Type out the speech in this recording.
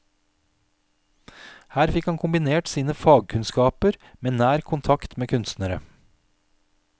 Her fikk han kombinert sine fagkunnskaper med nær kontakt med kunstnere.